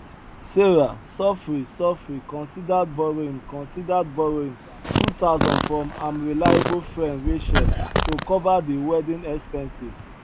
sarah sofri sofri considered borrowing considered borrowing two thousand from am reliable fren rachel to cover di wedding expenses